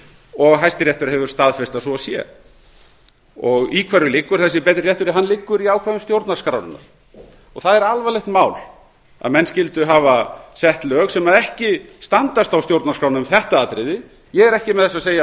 og hæstiréttur hefur staðfest að svo sé í hverju liggur þessi betri réttur hann liggur í ákvæðum stjórnarskrárinnar og það er alvarlegt mál að menn skyldu hafa sett lög sem ekki standast þá stjórnarskrána um þetta atriði ég er ekki með þessu að segja að